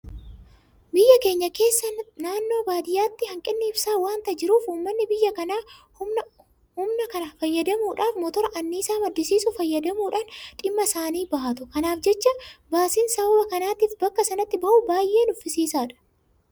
Biyya keenya keessa naannoo baadiyyaatti hanqinni ibsaa waanta jiruuf uummanni biyya kanaa humna kana fayyadamuudhaaf Motora anniisaa maddisiisu fayyadamuudhaan dhimma isaanii bahatu. Kanaaf jecha baasiin sababa kanaatiif bakka sanatti bahu baay'ee nuffisiisaadha.